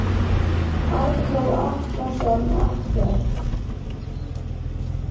Arnór Atlason ekkert.